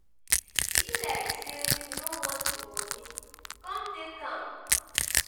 e be like say you no want the money come take am.